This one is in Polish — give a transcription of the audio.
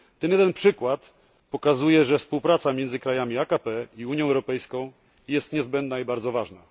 Ten jeden przykład pokazuje, że współpraca między krajami AKP i Unią Europejską jest niezbędna i bardzo ważna.